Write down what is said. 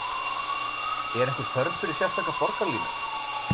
Er einhver þörf fyrir sérstaka borgarlínu?